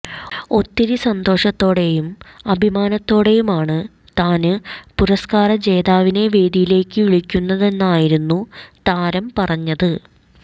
ഒത്തിരി സന്തോഷത്തോടെയും അഭിമാനത്തോടെയുമാണ് താന് പുരസ്കാര ജേതാവിനെ വേദിയിലേക്ക് വിളിക്കുന്നതെന്നായിരുന്നു താരം പറഞ്ഞത്